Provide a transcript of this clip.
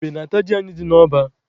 Ebe na-ata ji anyị dị n'ọba.